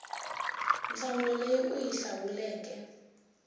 nhlamulo leyi u yi hlawuleke